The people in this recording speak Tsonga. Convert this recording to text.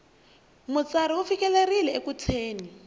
mutsari u fikelerile eku thyeni